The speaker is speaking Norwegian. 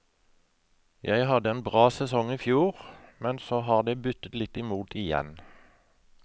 Jeg hadde en bra sesong i fjor, men så har det buttet litt i mot igjen.